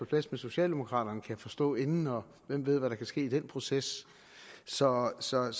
plads med socialdemokraterne kan jeg forstå inden og hvem ved hvad der kan ske i den proces så så jeg